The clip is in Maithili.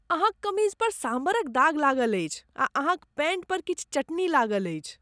अहाँक कमीज पर सांभरक दाग लागल अछि आ अहाँक पैंट पर किछु चटनी लागल अछि।